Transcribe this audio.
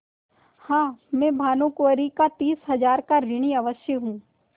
हाँ मैं भानुकुँवरि का तीस हजार का ऋणी अवश्य हूँ